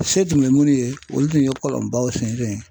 Se tun be minnu ye olu tun ye kɔlɔnbaw sen fen